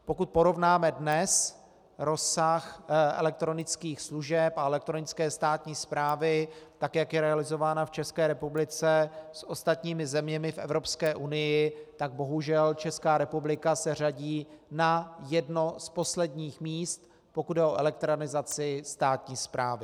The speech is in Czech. Pokud porovnáme dnes rozsah elektronických služeb a elektronické státní správy, tak jak je realizována v České republice, s ostatními zeměmi v Evropské unii, tak bohužel Česká republika se řadí na jedno z posledních míst, pokud jde o elektronizaci státní správy.